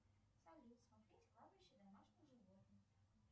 салют смотреть кладбище домашних животных